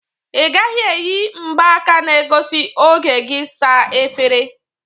Ị gaghi eyi mgbaka na egosi oge gị saa efere!